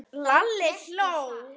Lalli hló.